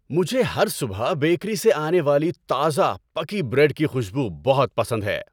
مجھے ہر صبح بیکری سے آنے والی تازہ پکی بریڈ کی خوشبو بہت پسند ہے۔